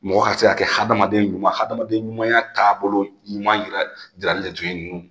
Mɔgɔ ka se ka kɛ hadamaden ɲuman hadamaden ɲumanumanya taabolo ɲuman yira jirali de tun ye nunnu